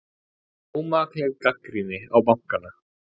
Ómakleg gagnrýni á bankana